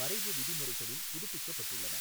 வரைவு விதிமுறைகளில் புதுப்பிக்கப்பட்டுள்ளன.